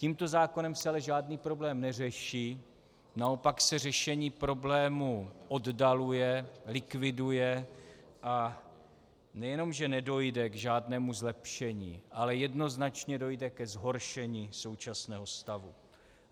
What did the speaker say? Tímto zákonem se ale žádný problém neřeší, naopak se řešení problému oddaluje, likviduje, a nejenom že nedojde k žádnému zlepšení, ale jednoznačně dojde ke zhoršení současného stavu.